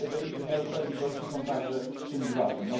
wymiaru sprawiedliwości są także czymś ważnym.